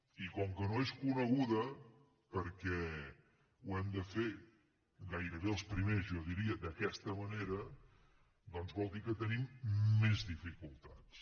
i com que no és coneguda perquè ho hem de fer gairebé els primers jo diria d’aquesta manera doncs vol dir que tenim més dificultats